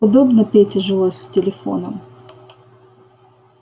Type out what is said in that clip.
удобно пете жилось с телефоном